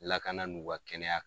Lakana n'u ka kɛnɛya.